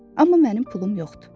Amma mənim pulum yoxdur.